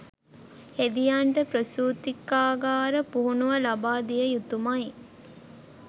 හෙදියන්ට ප්‍රසූතිකාගාර පුහුණුව ලබා දිය යුතුමයි